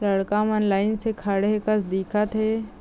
लड़का मन लाइन से खड़ॆ हे कस दिखत हे ।